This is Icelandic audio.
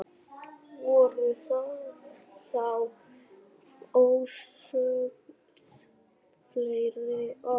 Voru þá ósögð fleiri orð.